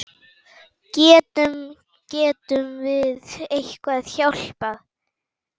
Getum, getum við eitthvað hjálpað?